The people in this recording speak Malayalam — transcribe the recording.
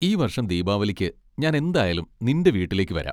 ഈ വർഷം ദീപാവലിക്ക് ഞാൻ എന്തായാലും നിൻ്റെ വീട്ടിൽക്ക് വരാം.